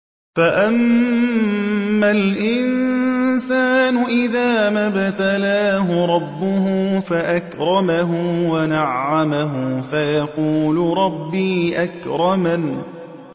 فَأَمَّا الْإِنسَانُ إِذَا مَا ابْتَلَاهُ رَبُّهُ فَأَكْرَمَهُ وَنَعَّمَهُ فَيَقُولُ رَبِّي أَكْرَمَنِ